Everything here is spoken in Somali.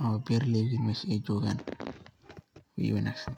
ama beraleey iga weyn mesha ay jogaan wey wanagsan tahay.